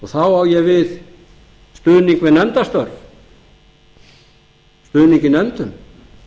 þá á ég við stuðning við nefndarstörf stuðning í nefndum